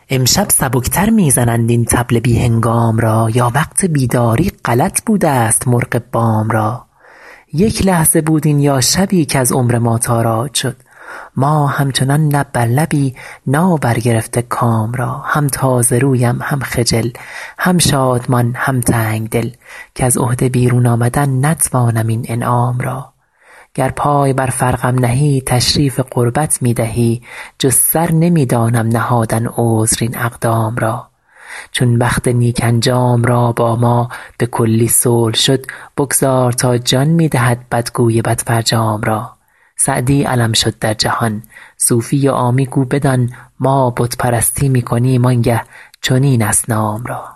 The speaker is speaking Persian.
امشب سبک تر می زنند این طبل بی هنگام را یا وقت بیداری غلط بودست مرغ بام را یک لحظه بود این یا شبی کز عمر ما تاراج شد ما همچنان لب بر لبی نابرگرفته کام را هم تازه رویم هم خجل هم شادمان هم تنگ دل کز عهده بیرون آمدن نتوانم این انعام را گر پای بر فرقم نهی تشریف قربت می دهی جز سر نمی دانم نهادن عذر این اقدام را چون بخت نیک انجام را با ما به کلی صلح شد بگذار تا جان می دهد بدگوی بدفرجام را سعدی علم شد در جهان صوفی و عامی گو بدان ما بت پرستی می کنیم آن گه چنین اصنام را